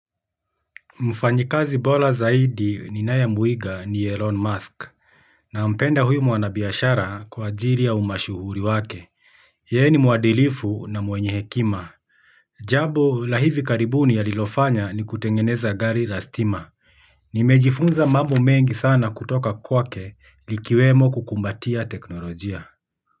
Mfanyakazi bora zaidi ninayemuiga ni Elon Musk. Nampenda huyu mwanabiashara kwaajili ya umashuhuri wake. Yeye ni muadilifu na mwenye hekima jambo la hivi karibuni alilofanya ni kutengeneza gari la stima. Nimejifunza mambo mengi sana kutoka kwake likiwemo kukumbatia teknolojia.